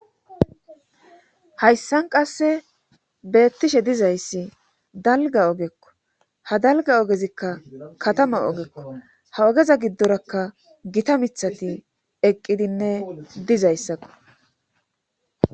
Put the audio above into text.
Hayssan qasse beettishe dizayssi dalga ogekko ha dalga ogezikka katama ogekko ha ogeza giddorakka gita mithati eqqidinne dizayssakko